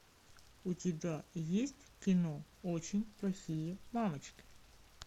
у тебя есть кино очень плохие мамочки